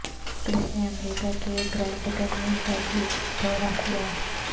کرس نے امریکہ کے گرینڈ کینیئن کا بھی دورہ کیا